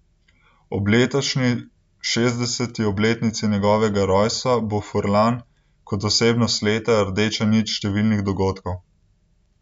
Ob letošnji šestdeseti obletnici njegovega rojstva bo Furlan kot osebnost leta rdeča nit številnih dogodkov.